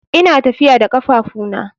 Ina tafiya da kafafuna.